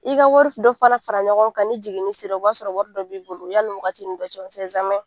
I ka wari dɔ fana fara ɲɔgɔn kan ni jiginini sera o b'a sɔrɔ wari dɔ bɛ bolo yanni wagatini dɔ cɛ .